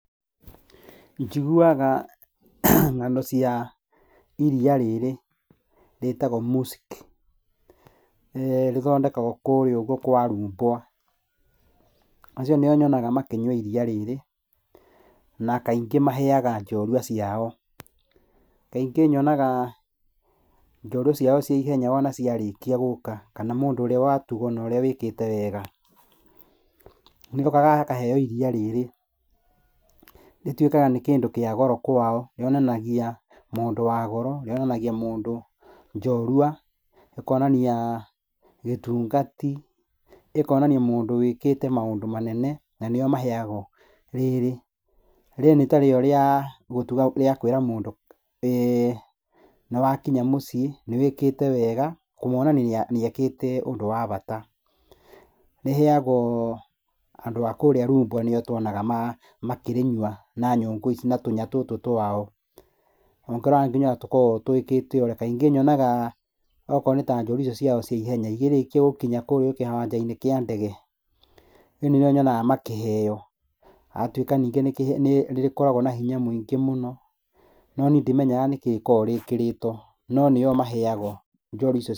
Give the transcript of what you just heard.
Njiguaga ng'ano cia iria rĩrĩ rĩtagwo musyk, rĩthondekagwo kũrĩa ũguo kwa rumbwa. Acio nĩo nyonaga makĩnyua iria rĩrĩ, na kaingĩ maheaga njorua ciao. Kaingĩ nyonaga njorua ciao cia ihenya wona ciarĩkia gũka kana mũndũ ũrĩa watugwo na ũrĩa wĩkĩte wega nĩokaga akaheo iria rĩrĩ, rĩtuĩkaga nĩ kĩndũ kĩa goro kwao, rĩonanagia mũndũ wa goro, rĩonanagia mũndũ njorua, rĩkonania gĩtungati, ĩkonania mũndũ wĩkĩte maũndũ manene, na nĩo maheagwo rĩrĩ. Rĩrĩ nĩ ta rĩo rĩa gũtuga, rĩakũĩra mũndũ nĩ wakinya mũciĩ, nĩwĩkĩte wega, kũmuonia nĩ ekĩte ũndũ wa bata. Rĩheagwo andũ a kũrĩa rumbwa nĩo tuonaga makĩrĩnyua na nyũngũ ici na tũnya tũtũ twao. Ũngĩrora nginya ũrĩa tũkoragwo twĩkĩte atĩ, kaingĩ nyonaga okorwo nĩ ta njorua icio ciao cia ihenya, ikĩrĩkia gũkinya kũrĩa kĩwanja-inĩ kĩa ndege, niĩ nĩrĩo nyonaga makĩheo, agatuĩka nyingĩ nĩ rĩkoragwo na hinya mũingĩ mũno, no niĩ ndimenyaga nĩkĩ rĩkoragwo rĩkĩrĩtwo, no nĩyo maheagwo njorua icio.